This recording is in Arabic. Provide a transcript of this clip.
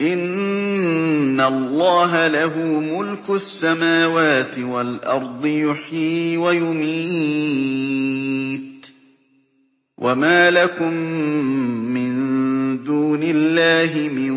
إِنَّ اللَّهَ لَهُ مُلْكُ السَّمَاوَاتِ وَالْأَرْضِ ۖ يُحْيِي وَيُمِيتُ ۚ وَمَا لَكُم مِّن دُونِ اللَّهِ مِن